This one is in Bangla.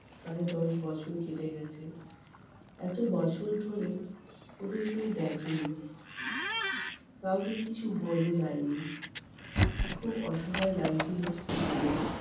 প্রায় দশ বছর কেটে গেছে। এত বছর ধরে ওদের কেউ দেখেনি। কাউকে কিছু বলে যায় নি। খুব অসহায় লাগছিলো তিতিরের।